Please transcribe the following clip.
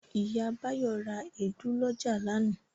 Ìyá Báyọ̀ ra èédú lọ́jà lánàá.